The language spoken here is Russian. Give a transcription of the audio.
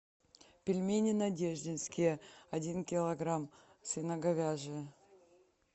пельмени надеждинские один килограмм свино говяжьи